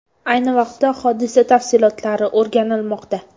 Ayni vaqtda hodisa tafsilotlari o‘rganilmoqda.